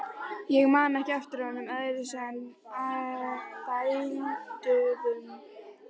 Ég man ekki eftir honum öðruvísi en dælduðum.